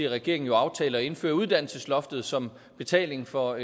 regeringen jo aftalte at indføre et uddannelsesloft som betaling for